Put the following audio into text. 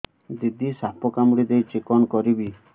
ଦିଦି ସାପ କାମୁଡି ଦେଇଛି କଣ କରିବି